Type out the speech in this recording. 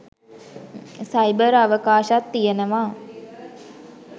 Cyber අවකාශත් තියෙනවා.